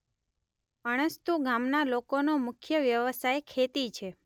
અણસ્તુ ગામના લોકોનો મુખ્ય વ્યવસાય ખેતી છે.